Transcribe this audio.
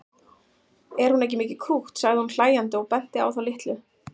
Er hún ekki mikið krútt sagði hún hlæjandi og benti á þá litlu.